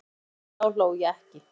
Ég hlæ núna en þá hló ég ekki.